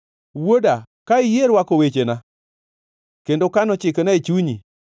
Wuoda, ka iyie rwako wechena kendo kano chikena e chunyi;